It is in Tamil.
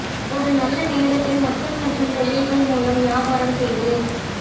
ஒரு நல்ல நேரத்தை மக்கள் மற்றும் தொழில்கள் மூலம் வியாபாரம் செய்து